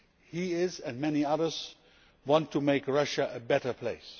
He like many others wanted to make Russia a better place.